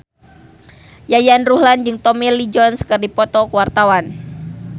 Yayan Ruhlan jeung Tommy Lee Jones keur dipoto ku wartawan